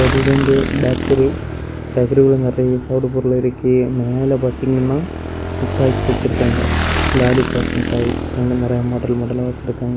இது வந்து பேக்கரி . பேக்கரிக்குள்ள நிறைய சாப்பிடற பொருள் இருக்கு. மேல பாத்தீங்கன்னா முட்டாய்ஸ் வச்சிருக்காங்க லாலிபாப் முட்டாய் வச்சிருக்காங்க. நறைய மாடல் மாடலா வச்சிருக்காங்க.